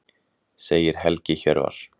Segir Helgi Hjörvar.